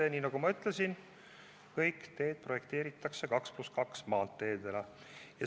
Ja nii, nagu ma ütlesin, projekteeritakse edaspidi kõik teed 2 + 2 maanteedena.